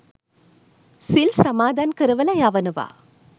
සිල් සමාදන් කරවලා යවනවා